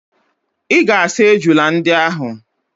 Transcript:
Ị ga-asa ejula ndị ahụ!